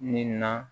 Ni na